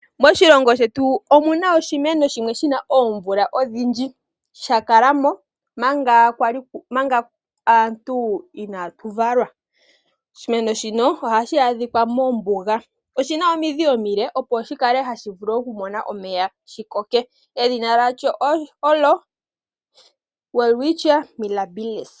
Moshilongo shetu omu na oshimeno shimwe shi na oomvula odhindji, sha kala mo manga aantu twa li inaatu valwa. Oshimeno shino ohashi a dhika mombuga. Oshimeno shino oshi na omidhi omile dhoku nana omeya. Edhina lyasho olyo owelwitchia mirabilis.